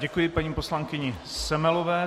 Děkuji paní poslankyni Semelové.